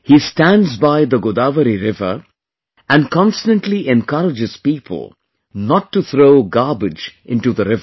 He stands by the Godavari river, and constantly encourages people not to throw garbage in the river